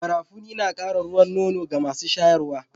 Garafuni na Kara ruwan nono ga masu shayarwa